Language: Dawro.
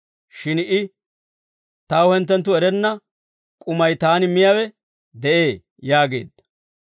Shin I, «Taw hinttenttu erenna k'umay taani miyaawe de'ee» yaageedda.